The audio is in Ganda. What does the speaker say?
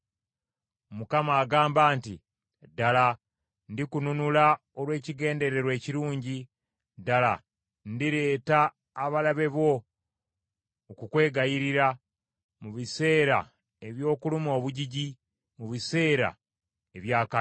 Mukama agamba nti, “Ddala ndikununula olw’ekigendererwa ekirungi, ddala ndireetera abalabe bo okukwegayirira, mu biseera eby’okuluma obujiji, mu biseera eby’akabi.